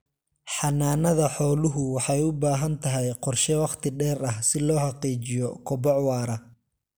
Xanaanada xooluhu waxay u baahan tahay qorshe wakhti dheer ah si loo xaqiijiyo koboc waara.